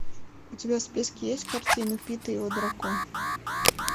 у тебя в списке есть картина пит и его дракон